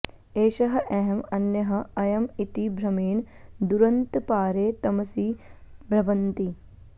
एषः अहम् अन्यः अयम् इति भ्रमेण दुरन्तपारे तमसि भ्रमन्ति